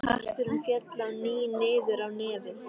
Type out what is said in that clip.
Hatturinn féll á ný niður á nefið.